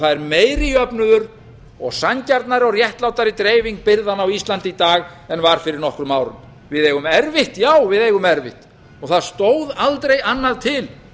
það er meiri jöfnuður og sanngjarnari og réttlátari dreifing byrðanna á íslandi í dag en var fyrir nokkrum árum við eigum erfitt já við eigum erfitt það stóð aldrei annað til